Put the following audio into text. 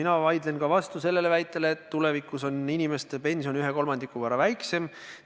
Ma vaidlen ka vastu sellele väitele, et tulevikus on inimeste pension 1/3 võrra väiksem.